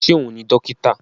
Ṣé òun ni dókítà?